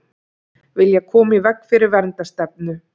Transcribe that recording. Vilja koma í veg fyrir verndarstefnu